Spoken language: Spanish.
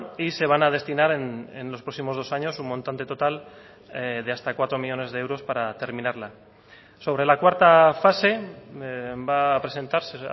y se van a destinar en los próximos dos años un montante total de hasta cuatro millónes de euros para terminarla sobre la cuarta fase va a presentarse